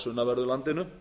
sunnanverðu landinu